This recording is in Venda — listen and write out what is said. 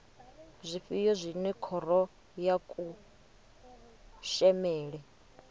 zwifhio zwine khoro ya kushemele